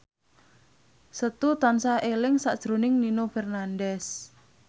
Setu tansah eling sakjroning Nino Fernandez